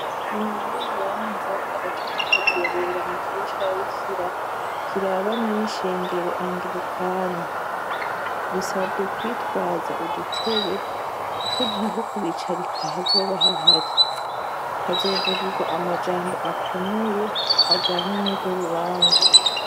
Inyuma y'urubanza agatutu kazobera mu kigo c'ababikira kirabana n'ishengero angirikani, bisabwe kwitwaza udutebe kuko ntaho kubicarika hazoba hahari, hazovugirwa amajambo akomeye ajanye n'urwo rubanza.